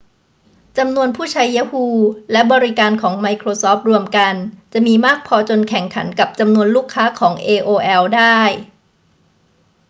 จำนวนผู้ใช้ yahoo และบริการของไมโครซอฟต์รวมกันจะมีมากพอจนแข่งขันกับจำนวนลูกค้าของ aol ได้